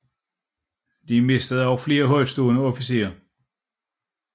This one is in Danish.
De mistede også flere højtstående officerer